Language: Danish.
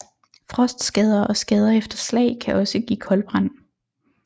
Frostskader og skader efter slag kan også give koldbrand